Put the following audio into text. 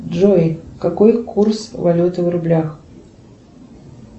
джой какой курс валюты в рублях